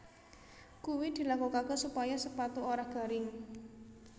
Kuwi dilakokaké supaya sepatu ora garing